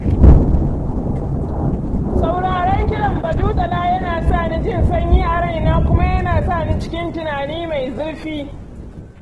Sauraron kiɗan badujala yana sa ni jin sanyi a raina kuma yana sani cikin tunani mai zurfi.